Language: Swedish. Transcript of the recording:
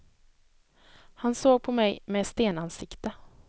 Han såg på mig med stenansikte.